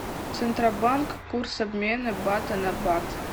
центробанк курс обмена бата на бат